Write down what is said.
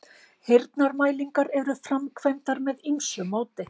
Heyrnarmælingar eru framkvæmdar með ýmsu móti.